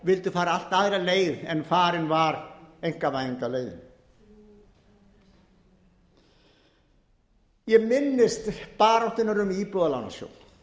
vildu fara allt aðra leið en farin var einkavæðingarleiðin ég minnist baráttunnar um íbúðalánasjóð